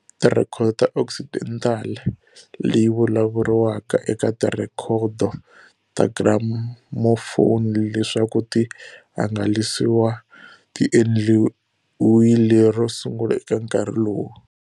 Tirhekhodo ta Occidental leyi vulavuriwaka eka tirhekhodo ta gramophone leswaku ti hangalasiwa ti endliwile ro sungula eka nkarhi lowu.